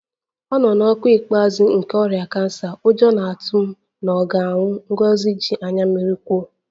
Ọ nọ n'ọkwa ikpeazụ nke ọrịa kansa, ụjọ na-atụ m na ọ ga-anwụ, Ngozi ji anya mmiri kwuo